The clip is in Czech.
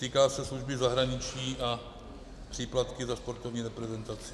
Týká se služby zahraničí a příplatky za sportovní reprezentaci.